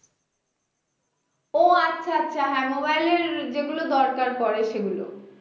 ও আচ্ছা আচ্ছা হ্যাঁ mobile এর যেগুলো দরকার পরে সেগুলো